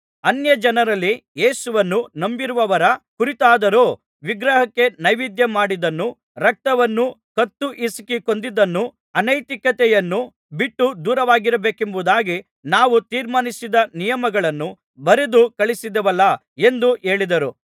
ಅನ್ಯಜನರಲ್ಲಿ ಯೇಸುವನ್ನು ನಂಬಿರುವವರ ಕುರಿತಾದರೋ ವಿಗ್ರಹಕ್ಕೆ ನೈವೇದ್ಯಮಾಡಿದ್ದನ್ನೂ ರಕ್ತವನ್ನೂ ಕತ್ತು ಹಿಸುಕಿ ಕೊಂದದ್ದನ್ನೂ ಅನೈತಿಕತೆಯನ್ನೂ ಬಿಟ್ಟು ದೂರವಾಗಿರಬೇಕೆಂಬುದಾಗಿ ನಾವು ತೀರ್ಮಾನಿಸಿದ ನಿಯಮಗಳನ್ನು ಬರೆದು ಕಳುಹಿಸಿದೆವಲ್ಲಾ ಎಂದು ಹೇಳಿದರು